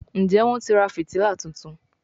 Njé Wón tí rà fìtílà títún?